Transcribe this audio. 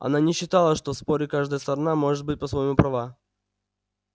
она не считала что в споре каждая сторона может быть по-своему права